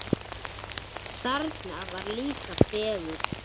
Þarna var líka fegurð.